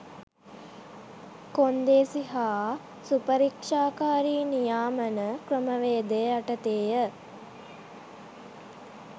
කොන්දේසි හා සුපරික්‍ෂාකාරී නියාමන ක්‍රමවේද යටතේය.